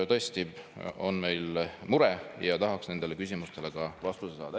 Tõesti, meil on mure ja tahaks nendele küsimustele ka vastust saada.